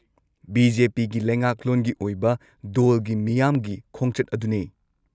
-ꯕꯤ.ꯖꯦ.ꯄꯤ.ꯒꯤ ꯂꯩꯉꯥꯛꯂꯣꯟꯒꯤ ꯑꯣꯏꯕ ꯗꯣꯜꯒꯤ ꯃꯤꯌꯥꯝꯒꯤ ꯈꯣꯡꯆꯠ ꯑꯗꯨꯅꯦ꯫